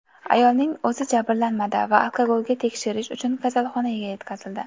Ayolning o‘zi jabrlanmadi va alkogolga tekshirish uchun kasalxonaga yetkazildi.